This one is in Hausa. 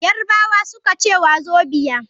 Yarbawa suka ce wazobia.